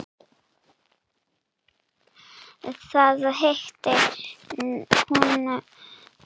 Þar hitti hún